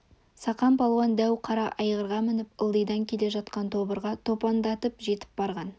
сақан палуан дәу қара айғырға мініп ылдидан келе жатқан тобырға топандатып жетіп барған